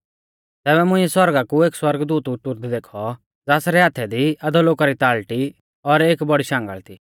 तैबै मुंइऐ सौरगा कु एक सौरगदूत उतुरदै देखौ ज़ासरै हाथै दी अधोलोका री ताल़टी और एक बौड़ी शांगल़ थी